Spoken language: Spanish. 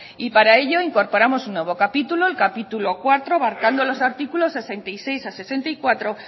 y para ello incorporamos un nuevo capítulo el capítulo cuarto marcando los artículos sesenta y seis a sesenta y cuatro